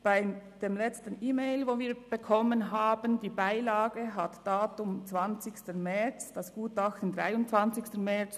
Bei der letzten E-Mail, die wir bekommen haben, trug die Beilage das Datum 20. März, das Gutachten 23. März.